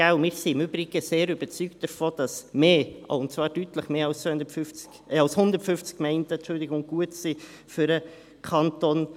Im Übrigen sind wir sehr überzeugt davon, dass mehr – und zwar deutlich mehr als 150 Gemeinden – für den Kanton Bern gut sind.